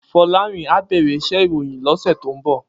Folarin á bèrè iṣè iróyin lòsè tó n bò